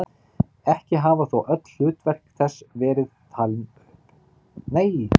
Ekki hafa þó öll hlutverk þess verið upp talin.